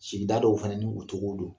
Sida dɔw fana ni u cogo don